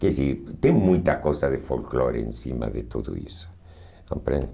Quer dizer, tem muita coisa de folclore em cima de tudo isso, compreende?